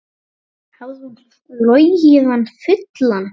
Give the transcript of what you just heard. Hafði hún logið hann fullan?